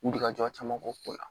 Wulikajɔ caman ko la